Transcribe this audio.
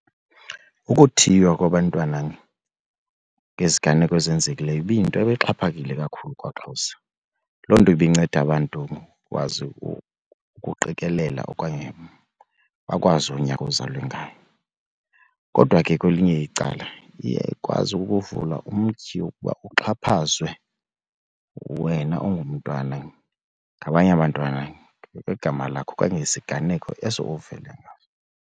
Ukuthiywa kwabantwana ngeziganeko ezenzekileyo ibiyinto exhaphakile kakhulu kwaXhosa. Loo nto ibinceda abantu bakwazi ukuqikelela okanye bakwazi unyaka uzalwe ngawo. Kodwa ke kwelinye icala iye ikwazi ukuvula umtyhi wokuba uxhaphazwe wena ungumntwana ngabanye abantwana ngegama lakho okanye ngesiganeko eso uvele ngazo.